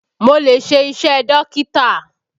Mo lè ṣe iṣẹ́ Dókítà